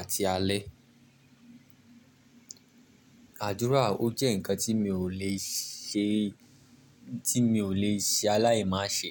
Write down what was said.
àti alẹ́. Àdúrà, ó jẹ́ ǹkan tí mi ò lè ṣe tí mi ò le ṣe aláìmáṣe.